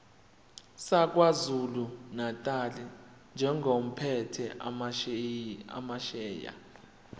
sakwazulunatali njengophethe amasheya